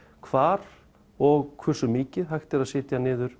hvar og hvursu mikið er hægt að setja niður